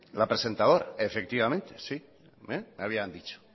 la presentadora efectivamente sí me habían dicho